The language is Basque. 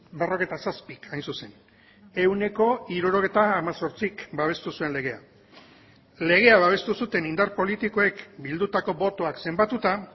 berrogeita zazpik hain zuzen ehuneko hirurogeita hemezortzik babestu zuen legea legea babestu zuten indar politikoek bildutako botoak zenbatuta